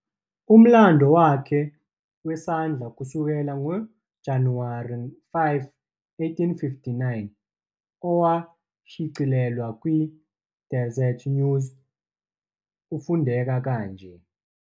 Umlando wakhe wesandla kusukela ngoJanuwari 5, 1852, owashicilelwa kwi- Deseret News, ufundeka kanje.